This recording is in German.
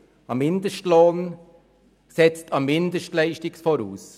Ein Mindestlohn setzt eine Mindestleistung voraus.